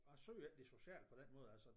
Jeg søger ikke det sociale på den måde altså